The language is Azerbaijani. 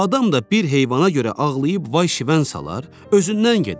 Adam da bir heyvana görə ağlayıb vay-şivən salar, özündən gedər?